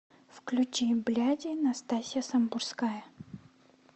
включи бляди настасья самбурская